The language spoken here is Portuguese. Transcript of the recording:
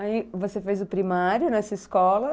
Aí você fez o primário nessa escola?